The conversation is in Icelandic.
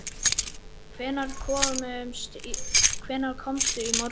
Sindri: Hvenær komstu í morgun?